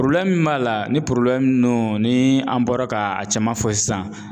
min b'a la ni ni an bɔra ka a caman fɔ sisan.